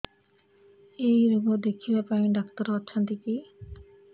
ଏଇ ରୋଗ ଦେଖିବା ପାଇଁ ଡ଼ାକ୍ତର ଅଛନ୍ତି କି